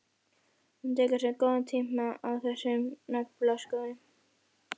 Hún tekur sér góðan tíma í þessa naflaskoðun.